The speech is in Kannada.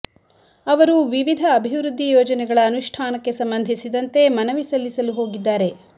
ಅವರು ವಿವಿಧ ಅಭಿವೃದ್ಧಿ ಯೋಜನೆಗಳ ಅನುಷ್ಠಾನಕ್ಕೆ ಸಂಬಂಧಿಸಿದಂತೆ ಮನವಿ ಸಲ್ಲಿಸಲು ಹೋಗಿದ್ದಾರೆ